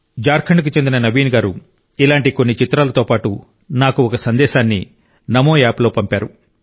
జార్ఖండ్కు చెందిన నవీన్ గారు ఇలాంటి కొన్ని చిత్రాలతో పాటు నాకు ఒక సందేశాన్ని నమోఆప్లో పంపారు